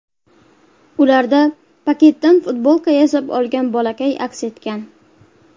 Ularda paketdan futbolka yasab olgan bolakay aks etgan.